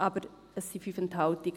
Aber es sind 5 Enthaltungen.